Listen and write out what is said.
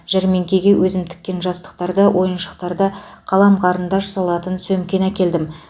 жәрмеңкеге өзім тіккен жастықтарды ойыншықтарды қалам қарындаш салатын сөмкені әкелдім